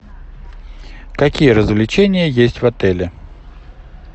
какие развлечения есть в отеле